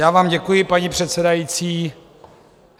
Já vám děkuji, paní předsedající.